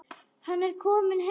Hann er kominn til Guðs.